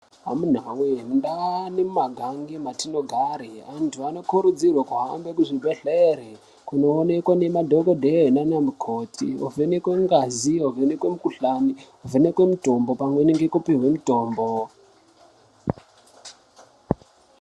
Amuna we ndau nemagange atinogara antu anokurudzirwa kuhambe Kuzvibhedhlera kundoonekwa nemadhokodheya nana mukoti vovhenekwa ngazi vovhenekwa mukuhlani vovhenekwa mitombo pamweni nekupihwa mitombo.